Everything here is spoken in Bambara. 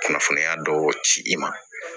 Kunnafoniya dɔw ci i ma